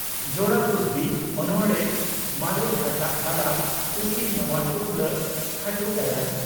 "ᱡᱚᱲᱟ ᱠᱩᱥᱵᱤ" (ᱚᱱᱚᱬᱬᱦᱮ) ᱢᱟᱨᱮ ᱦᱟᱴᱟᱜ ᱛᱟᱞᱟ ᱴᱩᱠᱤ ᱱᱟᱣᱟ ᱴᱩᱯᱞᱟᱹᱜ (ᱠᱷᱟᱴᱚ ᱜᱟᱭᱟᱱ)"